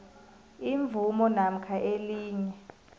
imvumo namkha elinye